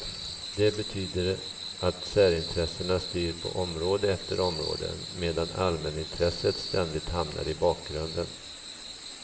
Det betyder att särintressena styr på område efter område, medan allmänintresset ständigt hamnar i bakgrunden.